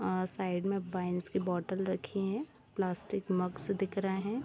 आ side में wines की बोतल रखी हैं प्लास्टिक मगस दिख रहे हैं।